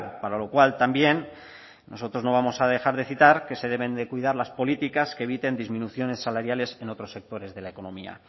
para lo cual también nosotros no vamos a dejar de citar que se deben de cuidar las políticas que eviten disminuciones salariales en otros sectores de la economía